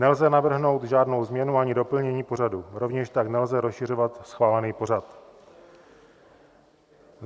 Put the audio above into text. Nelze navrhnout žádnou změnu ani doplnění pořadu, rovněž tak nelze rozšiřovat schválený pořad.